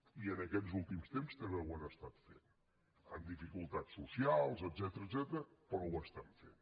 i aquests últims temps també ho han estat fent amb dificultats socials etcètera però ho estan fent